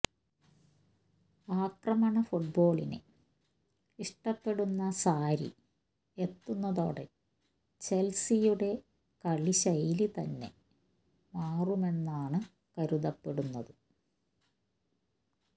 ആക്രമണ ഫുട്ബോളിനെ ഇഷ്ടപ്പെടുന്ന സാരി എത്തുന്നതോടെ ചെൽസിയുടെ കളി ശൈലി തന്നെ മാറുമെന്നാണ് കരുതപ്പെടുന്നത്